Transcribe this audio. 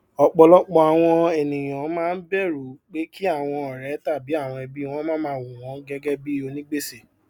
ọpọlọpọ àwọn ènìyàn máa ń bẹrù pé kí àwọn ọrẹ tàbí ẹbí wọn máa máa wo wọn gẹgẹ bíi onígbèsè